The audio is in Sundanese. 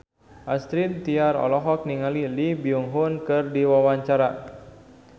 Astrid Tiar olohok ningali Lee Byung Hun keur diwawancara